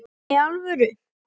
Nei, í alvöru